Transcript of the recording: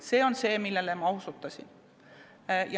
See on see, millele ma osutasin.